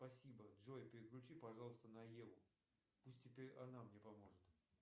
спасибо джой переключи пожалуйста на еву пусть теперь она мне поможет